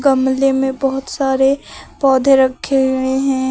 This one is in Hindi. गमले में बहुत सारे पौधे रखे हुए हैं।